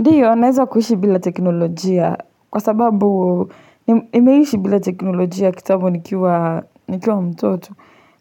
Ndiyo, naeza kuishi bila teknolojia kwa sababu nimeishi bila teknolojia kitambo nikiwa nikiwa mtoto,